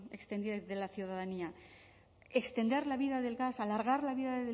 extendida de la ciudadanía extender la vida del gas alargar la vida